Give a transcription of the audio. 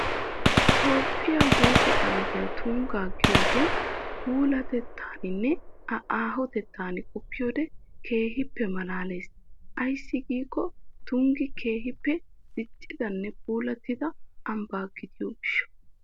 Toophphiya huuphee ambbay Tungga giyogee puulatettaanne A aahotettaa qoppiyode keehippe malaalees. Ayssi giikko Tunggi keehippe diccidanne puulattida ambba gidiyo gishsha.